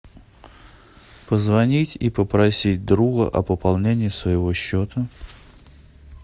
позвонить и попросить друга о пополнении своего счета